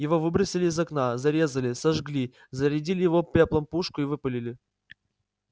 его выбросили из окна зарезали сожгли зарядили его пеплом пушку и выпалили